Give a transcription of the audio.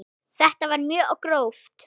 Þetta var mjög gróft.